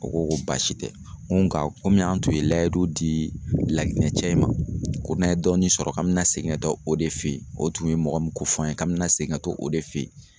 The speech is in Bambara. O ko ko baasi tɛ, n ko nka komi an tun ye layidu di La Guinée cɛ in ma ko n'an ye dɔɔnin sɔrɔ k'an bɛna segin ka taa o de fe ye, o tun ye mɔgɔ min ko fɔ an ye k'an bɛna segin ka to o de fe ye.